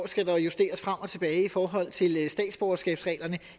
skal justeres frem og tilbage i forhold til statsborgerskabsreglerne